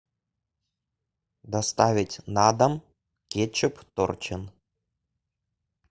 доставить на дом кетчуп торчин